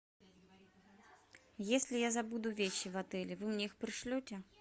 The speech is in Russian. если я забуду вещи в отеле вы мне их пришлете